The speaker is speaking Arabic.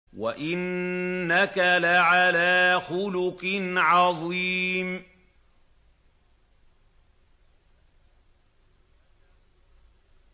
وَإِنَّكَ لَعَلَىٰ خُلُقٍ عَظِيمٍ